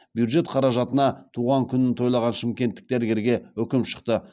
бюджет қаражатына туған күнін тойлаған шымкенттік дәрігерге үкім шықты